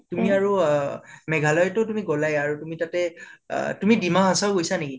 তুমি আৰু অহ মেঘালয়াতো তুমি গলাই আৰু তুমি তাতে আহ তুমি ডিমা হাচাও গৈছা নেকি?